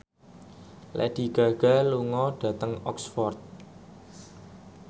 Lady Gaga lunga dhateng Oxford